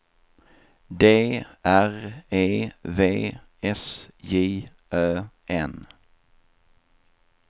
D R E V S J Ö N